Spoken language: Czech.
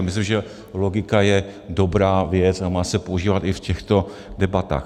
A myslím, že logika je dobrá věc a má se používat i v těchto debatách.